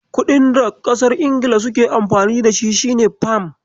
Kuɗin da ƙasar Ingila suke Amfani da shi shine Fam.